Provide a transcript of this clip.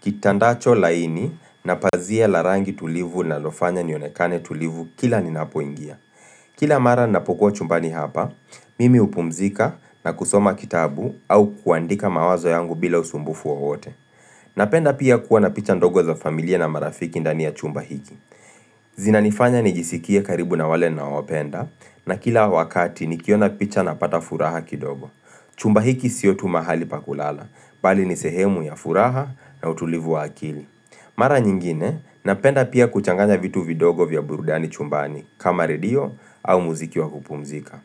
kitandacho laini na pazia la rangi tulivu linalofanya nionekane tulivu kila ninapoingia. Kila mara napokuwa chumbani hapa, mimi hupumzika na kusoma kitabu au kuandika mawazo yangu bila usumbufu wote. Napenda pia kuwa na picha ndogo za familia na marafiki ndani ya chumba hiki. Zinanifanya nijisikie karibu na wale ninaowapenda na kila wakati nikiona picha napata furaha kidogo Chumba hiki sio tu mahali pa kulala, bali ni sehemu ya furaha na utulivu wa akili Mara nyingine, napenda pia kuchanganya vitu vidogo vya burudani chumbani kama redio au muziki wa kupumzika.